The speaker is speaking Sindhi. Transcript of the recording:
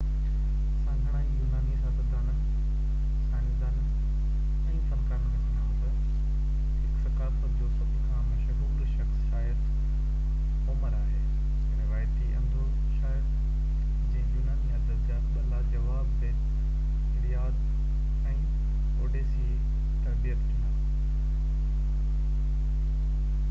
اسان گهڻا ئي يوناني سياستدانن سائنسدانن ۽ فنڪارن کي سڃاڻو ٿا هن ثقافت جو سڀ کان مشهور شخص شايد هومر آهي روايتي انڌو شاعر جنهن يوناني ادب جا ٻہ لاجواب بيت ايلياڊ ۽ اوڊيسي ترتيب ڏنا